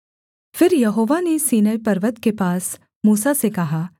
फिर यहोवा ने सीनै पर्वत के पास मूसा से कहा